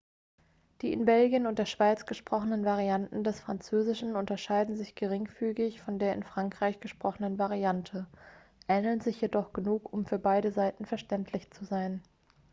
die in belgien und der schweiz gesprochenen varianten des französischen unterscheiden sich geringfügig von der in frankreich gesprochenen variante ähneln sich jedoch genug um für beide seiten verständlich zu sein